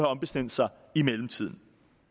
ombestemt sig i mellemtiden